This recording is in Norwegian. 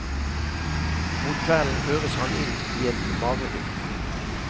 Mot kvelden føres han inn i et mareritt.